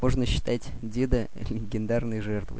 можно считать деда ха легендарной жертвой